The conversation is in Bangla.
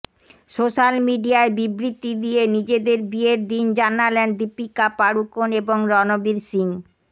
সোশ্যাল মিডিয়ায় বিবৃতি দিয়ে নিজেদের বিয়ের দিন জানালেন দীপিকা পাড়ুকোন এবং রণবীর সিংহ